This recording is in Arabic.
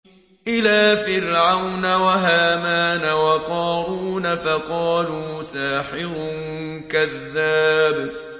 إِلَىٰ فِرْعَوْنَ وَهَامَانَ وَقَارُونَ فَقَالُوا سَاحِرٌ كَذَّابٌ